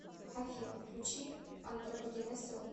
афина включи антропогенез ру